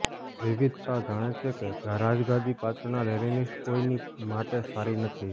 વિવિધતા જાણે છે કે રાજગાદી પાછળના લેનનિસ્ટ્સ કોઈની માટે સારી નથી